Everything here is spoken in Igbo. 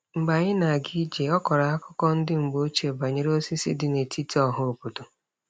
Mgbe anyị na-aga ije, ọ kọrọ akụkọ ndị mgbe ochie banyere osisi dị n'etiti ọhaobodo.